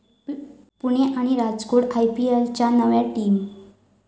पुणे' आणि 'राजकोट' आयपीएलच्या नव्या टीम